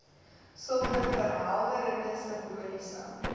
sulke verhelderende simboliese